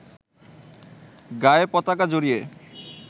গায়ে পতাকা জড়িয়ে